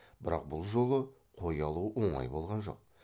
бірақ бұл жолы қой алу оңай болған жоқ